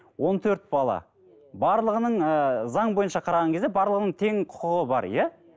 он төрт бала барлығының ыыы заң бойынша қараған кезде барлығының тең құқығы бар иә